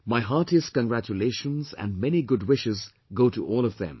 My heartiest congratulations and many good wishes go to all of them